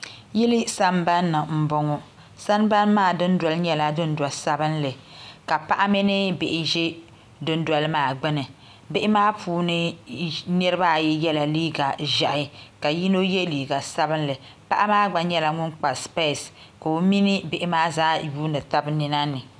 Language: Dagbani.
Yili sambanni n bɔŋɔ sambani maa dundoli nyɛla dundo sabinli ka paɣa mini bihi ʒɛ dundoli maa gbuni bihi maa puuni niraba ayi yɛla liiga ʒiɛhi ka yino yɛ liiga sabinli paɣa maa gba nyɛla ŋun kpa spees ka o mini bihi maa zaa yuundi tabi nina ni